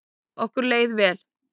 Okkur leið vel.